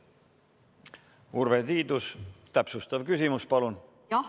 Urve Tiidus, täpsustav küsimus, palun!